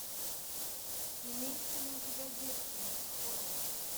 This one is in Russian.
имеется ли у тебя девственность холли